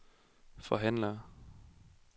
forhandler